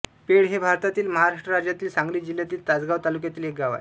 paid हे भारतातील महाराष्ट्र राज्यातील सांगली जिल्ह्यातील तासगांव तालुक्यातील एक गाव आहे